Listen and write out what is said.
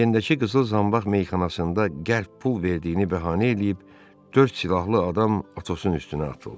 Anyendəki qızıl zanbaq meyxanasında qəlb pul verdiyini bəhanə eləyib dörd silahlı adam Atosun üstünə atıldı.